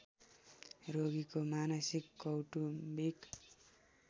रोगीको मानसिक कौटुम्बिक